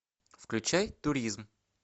включай туризм